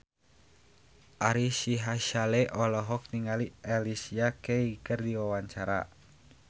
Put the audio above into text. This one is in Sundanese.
Ari Sihasale olohok ningali Alicia Keys keur diwawancara